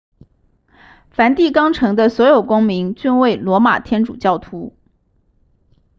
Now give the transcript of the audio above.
梵蒂冈城的所有公民均为罗马天主教徒